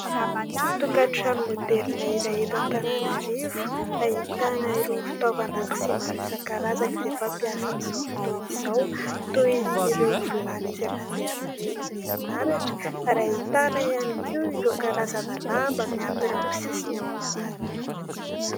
Tokatrano maoderina iray eto Antananarivo ahitana irony fitaovan-dakozia maro isan-karazany izay fampiasa amin'izao fotoana izao toin'ireo vilany izay mandeha amin'ny herin'ny herinaratra ary ahitana ihany koa ireo karazana lamba mihantona eo amin'ny sisiny eo ambany.